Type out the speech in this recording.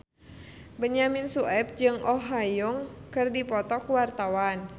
Benyamin Sueb jeung Oh Ha Young keur dipoto ku wartawan